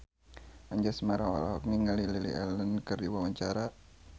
Anjasmara olohok ningali Lily Allen keur diwawancara